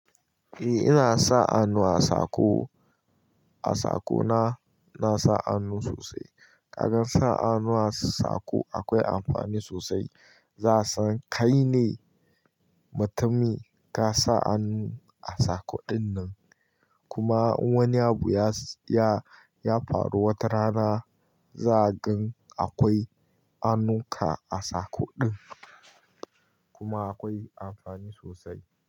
Eh ina sa hannu a sako, a sakona nasa annu sosai. Ƙaga sa hannu a sako akwai amfani sosai. Za'asan kai ne mutumin kasa annu a sako dinnan. Kuma in wani abu ya faru wata rana zagani akwai hannunka a sako din. Kuma akwai amfani sosai.